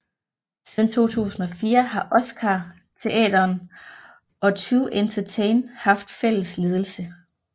Siden 2004 har Oscarsteatern og 2Entertain haft fælles ledelse